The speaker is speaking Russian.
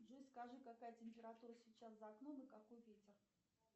джой скажи какая температура сейчас за окном и какой ветер